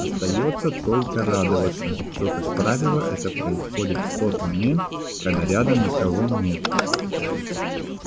остаётся только радоваться что как правило это происходит в тот момент когда рядом никого нет